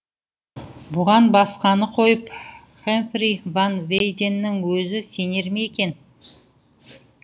бұған басқаны қойып хэмфри ван вейденнің өзі сенер ме екен